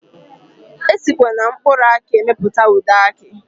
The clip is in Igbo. Esikwa na mkpụrụ aki emepụta ude aki.